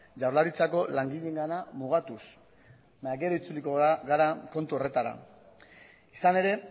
jaurlaritzako langileena mugatuz baina gero itzuliko gara kontu horretara izan ere